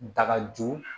Dagajo